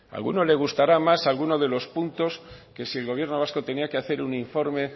a alguno le gustará más algunos de los puntos que si el gobierno vasco tenía que hacer un informe